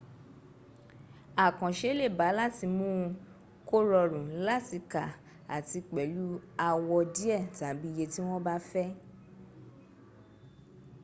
àkànse lè ba láti mún un kó rọrùn láti ka àti pẹ̀lú àwọ̀ díẹ̀ tàbí iye tí wọ́n bá fẹ́